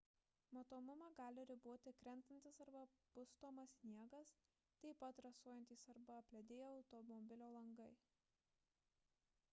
matomumą gali riboti krentantis arba pustomas sniegas taip pat rasojantys arba apledėję automobilio langai